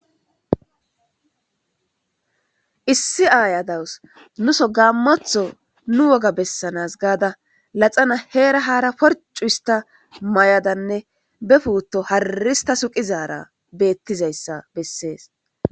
Issi aya dawus nuso gamotho nu woga besana gada laxana hera hara porcu hista mayadane be puto harri hista suqizara betizaysa beses